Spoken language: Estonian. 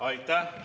Aitäh!